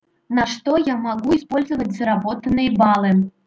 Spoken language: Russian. на что я могу использовать заработанные баллы